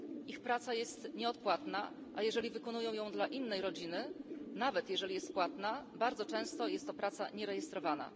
Ich praca jest nieodpłatna, a jeżeli wykonują ją dla innej rodziny, nawet jeżeli jest płatna, bardzo często jest to praca nierejestrowana.